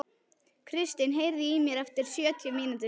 Kristin, heyrðu í mér eftir sjötíu mínútur.